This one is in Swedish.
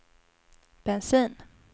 bensin